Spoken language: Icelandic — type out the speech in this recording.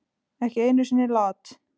Ekki einu sinni Lat.